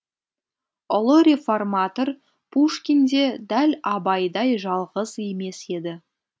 ұлы реформатор пушкин де дәл абайдай жалғыз емес еді